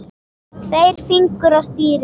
Tveir fingur á stýri.